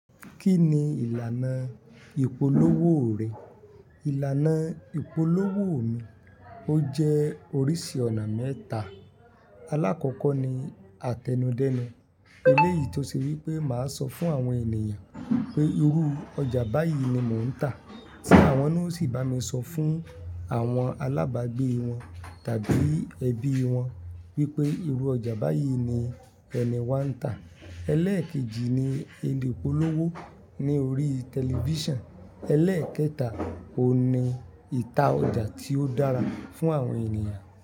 Kí ni ìlànà ìpolówó rẹ̀? Ìlànà ìpolówó mi ó jẹ́ oríṣi ọ̀nà mẹ́ta. Alákọ̀ọ́kọ́ ni àtẹnudẹ́nu. Eléyìí tó ṣe wí pé màá sọ fún àwọn ènìyàn pé irú ọjà báyìí ni mò ń tà, tí àwọn náà sì bá mi sọ fún àwọn alábàágbé wọn tàbí ẹbí wọn wípé irú ọjà báyìí ni ẹni wa ń tà. Eléèkejì ni elépolówó ní orí tẹlifíṣàn. Elẹ́ẹ̀kẹta oun ni ìta ọjà tí ó dára fún àwọn ènìyàn.